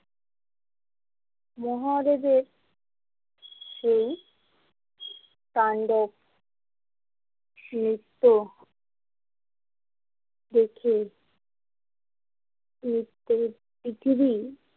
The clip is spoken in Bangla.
মহাদেবের সেই তাণ্ডব নৃত্য দেখে পৃথিবী।